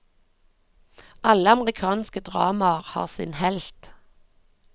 Alle amerikanske dramaer har sin helt.